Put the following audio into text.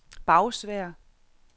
Bagsværd